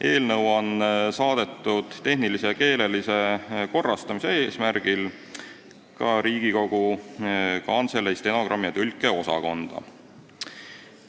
Eelnõu on saadetud tehnilise ja keelelise korrastamise eesmärgil ka Riigikogu Kantselei stenogrammi- ja tõlkeosakonda.